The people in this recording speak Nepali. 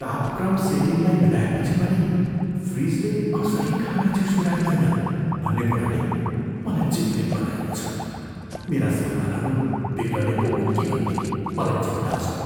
तापक्रम सेटिङलाई मिलाएपछि पनि फ्रिजले कसरी खाना चिसो राख्दैन भन्ने कुराले मलाई चिन्तित बनाएको छ, मेरा सामानहरू बिग्रने पो हुन् कि भन्ने मलाई चिन्ता छ।